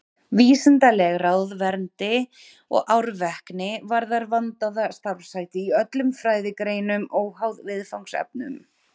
Vísindaleg ráðvendni og árvekni varðar vandaða starfshætti í öllum fræðigreinum, óháð viðfangsefnum.